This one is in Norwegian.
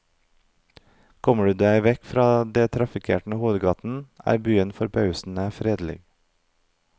Kommer du deg vekk fra de trafikkerte hovedgatene, er byen forbausende fredelig.